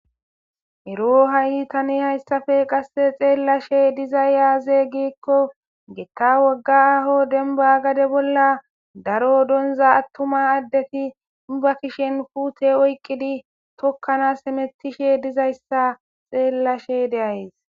Eroo thani haysape qassi xeellashee dizay aazee giikko githa aaho demba gade bolla daro donzza aththuma addethi ba kushen puuthe oykkidi tokkanaas hemeththishee dizayssa xeellashee de7ays.